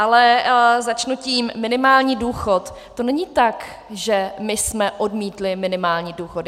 Ale začnu tím: minimální důchod, to není tak, že my jsme odmítli minimální důchod.